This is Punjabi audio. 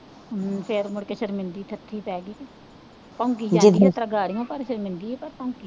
ਹੂੰ ਫੇਰ ਮੁੜਕੇ ਪੈ ਗਈ, ਭੌਂਕੀ ਜਾਂਦੀ ਹੈ ਤਰਗਾੜੀਆ ਭਰ ਭਰ ਕੇ ਦਿੰਦੀ ਹੈ, ਪਰ ਭੌਕੀ